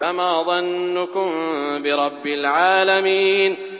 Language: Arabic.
فَمَا ظَنُّكُم بِرَبِّ الْعَالَمِينَ